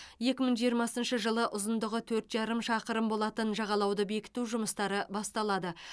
екі мың жиырмасыншы жылы ұзындығы төрт жарым шақырым болатын жағалауды бекіту жұмыстары басталады